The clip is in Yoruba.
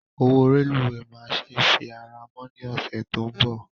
Owó rélùweè máa se fi ara mọ́ ní ọ̀sẹ̀ tó ń bọ̀